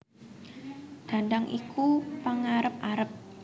Dhandhang iku pengarep arep